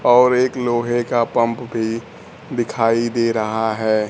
और एक लोहे का पंप भी दिखाई दे रहा है।